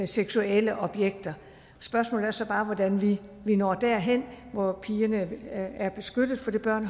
seksuelle objekter spørgsmålet er så bare hvordan vi når derhen hvor pigerne er er beskyttet fordi børn